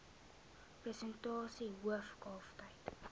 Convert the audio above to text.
persentasie hoof kalftyd